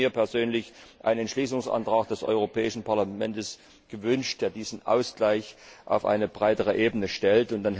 Ich persönlich hätte mir einen Entschließungsantrag des Europäischen Parlaments gewünscht, der diesen Ausgleich auf eine breitere Ebene stellt.